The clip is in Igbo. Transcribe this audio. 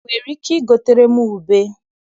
I nwere ike igotere m ube?